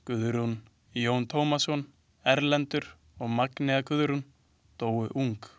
Guðrún, Jón Tómasson, Erlendur og Magnea Guðrún dóu ung.